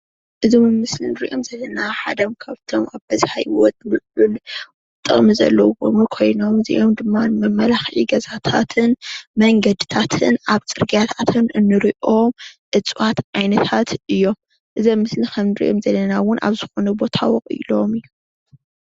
እዚ ኣብ ምስሊ እንሪኦም ዘለና ሓደ ካብቶም ኣብ ሂወት ጥቅሚ ዘለዎም ኮይኖም እዚኦም ድማ ንመመላክዒ ገዛታትን መንገድታትን ኣብ ፅርግያታትን እንሪኦ እፅዋት ዓይነታት እዮም፡፡ እዚ ኣብ ምስሊ ከም እንሪኦ ዘለና እውን ኣብ ዝኮነ ቦታ ወቂሎም እዮም፡፡